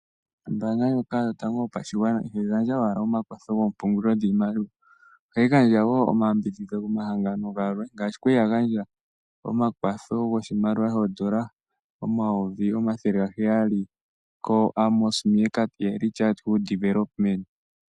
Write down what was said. Ombaanga ndjoka yotango yopashigwana ihayi gandja owala omakwatho gomapungulilo goshimaliwa, ohayi gandja wo omayambidhidho komahangano ga yooloka ngaashi ya li ya gandja omakwatho goshimaliwa shooN$ 700 000 kehangano lyoAmos Meerkat Early Childhood Development.